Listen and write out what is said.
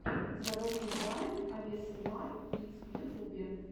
заводи вайн авесэмар кидс в ютубе